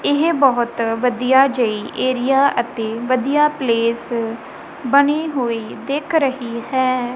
ਇਹ ਬਹੁਤ ਵਧੀਆ ਜਿਹੀ ਏਰੀਆ ਅਤੇ ਵਧੀਆ ਪਲੇਸ ਬਣੇ ਹੋਏ ਦਿੱਖ ਰਹੀ ਹੈ।